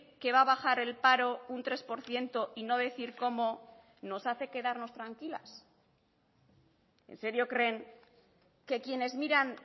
que va a bajar el paro un tres por ciento y no decir cómo nos hace quedarnos tranquilas en serio creen que quienes miran